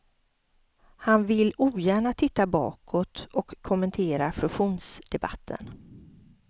Han vill ogärna titta bakåt och kommentera fusionsdebatten.